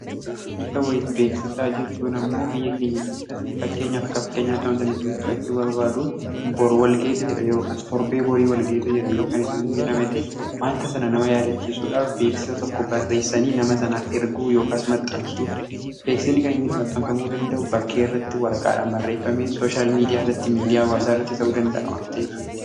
aachiisa bo'is beeksisaa jechuun ammoo biyya keenya keessatti fakkeenyaaf akka fakkeenyaa to'antan isinii fudhachuu barbaadu bor walgeetu jira yka torbee borii walgaetu jira yookan isiin jedhamete wanta sana nama yaadachiisuudhaaf beeksisa tokko barreessanii nama sanaaf erguu yookaas maxxansuu beeksinni kan inniti maxxanfamuu danda'u bakkee irratti wara-qaadhan barreeffame sooshyaal miidiyaa irratti miidiyaa waasaa rratti ta'uu danda'a wanteef